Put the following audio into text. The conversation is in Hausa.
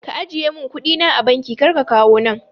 Ka ajiye mun kuɗi na a banki kar ka kawo nan